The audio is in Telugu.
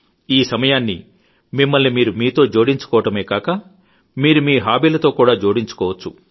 ఈ సమయాన్ని మిమ్మల్ని మీరు మీతో జోడించుకోవడమే గాక మీరు మీ హాబీలతో కూడా జోడించుకోవచ్చు